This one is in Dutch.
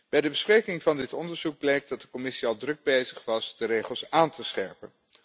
Bij de bespreking van dit onderzoek bleek dat de Commissie al druk bezig was de regels aan te scherpen.